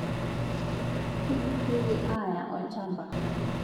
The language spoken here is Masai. Keiduriekii ayaa olchamba